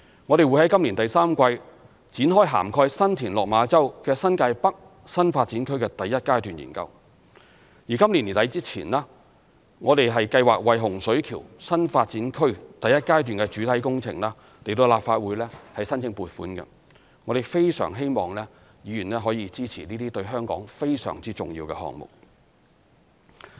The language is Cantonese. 我們亦會在今年第三季展開涵蓋新田/落馬洲的新界北新發展區第一階段研究，而今年年底前，我們計劃為洪水橋新發展區第一階段的主體工程向立法會申請撥款，我們非常希望議員能夠支持這些對香港非常重要的項目。